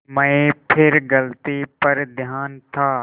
मैं फिर गलती पर था